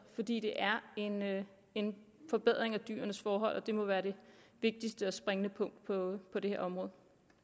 fordi det er en forbedring af dyrenes forhold og det må være det vigtigste og springende punkt på på dette område